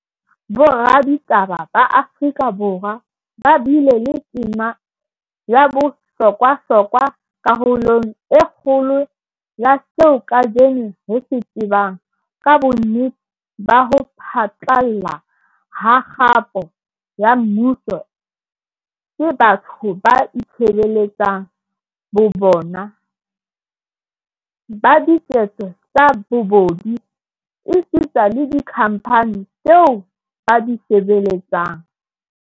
Boraditaba ba Afrika Borwa ba bile le tema ya bohlokwa hlokwa karolong e kgolo ya seo kajeno re se tsebang ka bonnete ba ho phatlalla ha kgapo ya mmuso ke batho ba itshebeletsang bo bona, ba diketso tsa bobodu, esita le dikhamphani tseo ba di sebeletsang.